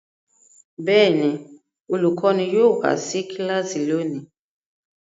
Bẹ́ẹ̀ ni, olùkọ́ní yóò wá sí kíláàsì lónìí.